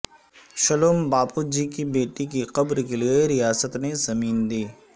shalom Bapuji کی بیٹی کی قبر کے لیے ریاست نے زمین دی